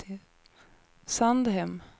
Sandhem